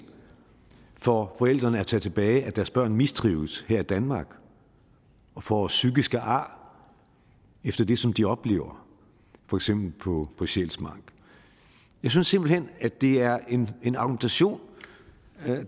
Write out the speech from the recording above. for forældrene til at tage tilbage at deres børn mistrives her i danmark og får psykiske ar efter det som de oplever for eksempel på på sjælsmark jeg synes simpelt hen at det er en argumentation